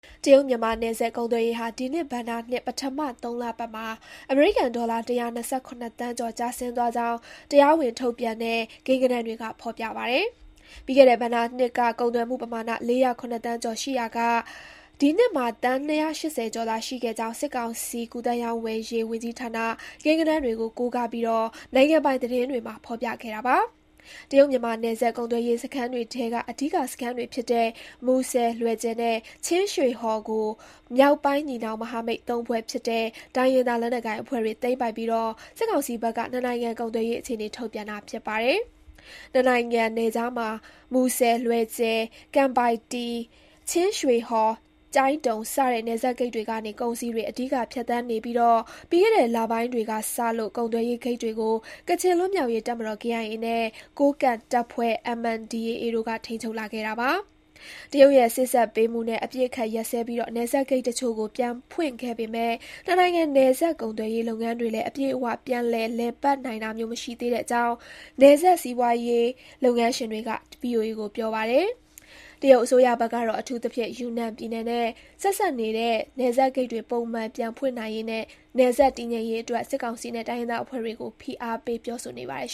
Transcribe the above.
တရုတ်-မြန်မာနယ်စပ် ကုန်သွယ်ရေးဟာ ဒီနှစ်ဘဏ္ဍာနှစ် ပထမ ၃ လပတ်မှာ အမေရိကန်ဒေါ်လာ ၁၂၇ သန်းကျော် ကျဆင်းသွားကြောင်း တရားဝင်ထုတ်ပြန်တဲ့ ကိန်းဂဏန်းတွေက ဖော်ပြပါတယ်။ ပြီးခဲ့တဲ့ဘဏ္ဍာနှစ်က ကုန်သွယ်မှုပမာဏ ၄၀၇ သန်းကျော် ရှိခဲ့ရာက၊ ဒီနှစ်မှာ သန်း ၂၈၀ ကျော်သာ ရှိခဲ့ကြောင်း စစ်ကောင်စီ ကူးသန်းရောင်းဝယ်ရေး ဝန်ကြီးဌာန ကိန်းဂဏန်းတွေကို ကိုးကားပြီး နိုင်ငံပိုင်သတင်းတွေမှာ ဖော်ပြခဲ့တာပါ။ တရုတ်-မြန်မာနယ်စပ် ကုန်သွယ်ရေးစခန်းတွေထဲက အဓိကစခန်းတွေဖြစ်တဲ့ မူဆယ်၊ လွယ်ဂျယ်နဲ့ ချင်းရွှေဟော်ကို မြောက်ပိုင်းညီနောင် မဟာမိတ်သုံးဖွဲ့ ဖြစ်တဲ့ တိုင်းရင်းသားလက်နက်ကိုင်အဖွဲ့တွေ သိမ်းပိုက်ပြီး စစ်ကောင်စီဘက်က နှစ်နိုင်ငံ ကုန်သွယ်ရေးအခြေအနေ ထုတ်ပြန်တာ ဖြစ်ပါတယ်။ နှစ်နိုင်ငံနယ်ခြားမှာ မူဆယ်၊ လွယ်ဂျယ်၊ ကံပိုင်တည်၊ ချင်းရွှေဟော်၊ ကျိုင်းတုံ စတဲ့ နယ်စပ်ဂိတ်တွေကနေ ကုန်စည်တွေ အဓိက ဖြတ်သန်းနေပြီး ပြီးခဲ့တဲ့ လပိုင်းတွေကစလို့ ကုန်သွယ်ရေး ဂိတ်တွေကို ကချင်လွတ်မြောက်ရေး တပ်မတော် (KIA) နဲ့ ကိုးကန့်တပ်ဖွဲ့ (MNDAA) တို့က ထိန်းချုပ်လာခဲ့ပါတယ်။ တရုတ်ရဲ့ စေ့စပ်ပေးမှုနဲ့ အပစ်အခတ်ရပ်စဲပြီး နယ်စပ်ဂိတ်တချို့ကို ပြန်ဖွင့်ခဲ့ပေမဲ့ နှစ်နိုင်ငံ နယ်စပ်ကုန်သွယ်ရေးလုပ်ငန်းတွေလည်း အပြည့်အ၀ ပြန်လည် လည်ပတ်နိုင်တာမျိုး မရှိသေးတဲ့အကြောင်း နယ်စပ် စီးပွားရေးလုပ်ငန်းရှင်တွေက VOA ကို ပြောပါတယ်။ တရုတ်အစိုးရဘက်ကတော့ အထူးသဖြင့် ယူနန်ပြည်နယ်နဲ့ ဆက်စပ်နေတဲ့ နယ်စပ်ဂိတ်တွေ ပုံမှန် ပြန်ဖွင့်နိုင်ရေးနဲ့ နယ်စပ် တည်ငြိမ်ရေးအတွက် စစ်ကောင်စီနဲ့ တိုင်းရင်းသားအဖွဲ့တွေကို ဖိအားပေး ပြောဆိုနေပါတယ်